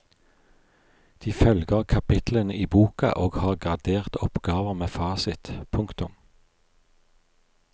De følger kapitlene i boka og har graderte oppgaver med fasit. punktum